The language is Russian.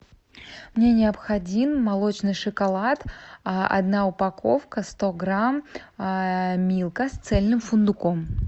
мне необходим молочный шоколад одна упаковка сто грамм милка с цельным фундуком